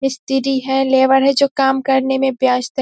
STD. है labour है जो काम करने में व्यस्त है।